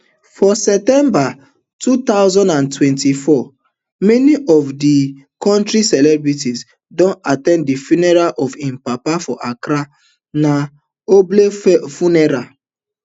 for september two thousand and twenty-four many of di kontris celebrities don at ten d di funeral of im papa for accra na ogbonge funeral